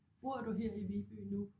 Bor du her i Viby nu?